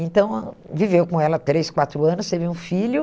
Então, hum, viveu com ela três, quatro anos, teve um filho.